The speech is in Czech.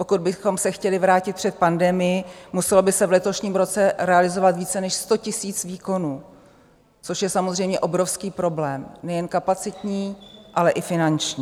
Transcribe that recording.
Pokud bychom se chtěli vrátit před pandemii, muselo by se v letošním roce realizovat více než 100 000 výkonů, což je samozřejmě obrovský problém nejen kapacitní, ale i finanční.